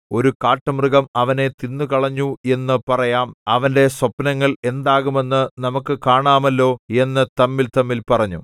ഒരു കാട്ടുമൃഗം അവനെ തിന്നുകളഞ്ഞു എന്നു പറയാം അവന്റെ സ്വപ്നങ്ങൾ എന്താകുമെന്നു നമുക്കു കാണാമല്ലോ എന്നു തമ്മിൽതമ്മിൽ പറഞ്ഞു